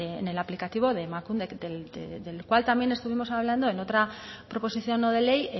en el aplicativo de emakunde del cual también estuvimos hablando en otra proposición no de ley